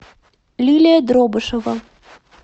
лилия дробышева